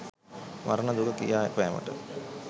මරණ දුක කියාපෑමට